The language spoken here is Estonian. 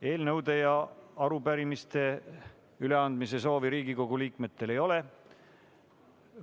Eelnõude ja arupärimiste üleandmise soovi Riigikogu liikmetel ei ole.